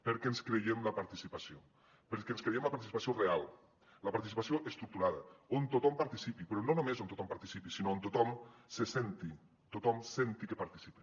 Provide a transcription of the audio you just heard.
perquè ens creiem la participació perquè ens creiem la participació real la participació estructurada on tothom participi però no només on tothom participi sinó on tothom senti que participa